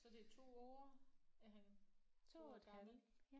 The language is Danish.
Så det er 2 år at han 2 år gammel